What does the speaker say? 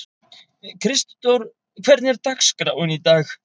Kristdór, hvernig er dagskráin í dag?